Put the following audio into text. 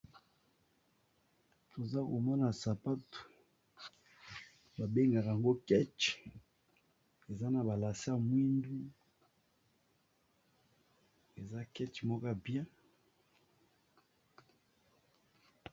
Toza komona sapatu babengaka yango kechi, eza na balace ya mwindu eza keche moko ya bien.